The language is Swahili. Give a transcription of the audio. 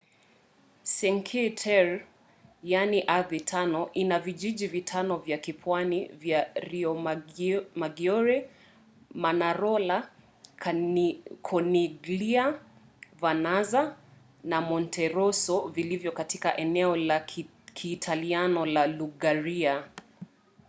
cinque terre yaani ardhi tano ina vijiji vitano vya kipwani vya riomaggiore manarola corniglia vernazza na monterosso vilivyo katika eneo la kiitaliano la liguria